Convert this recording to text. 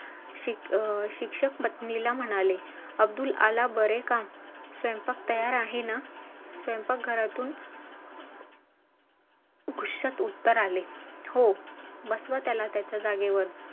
त्याक्षणी म्हंटल कि नाही आपल्याला अजून थोडंसं पळावं लागेल , आपल्याला अजून थोडंसं धावावं लागेल.